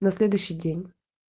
на следующий день